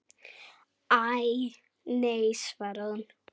Æ, nei svaraði hún.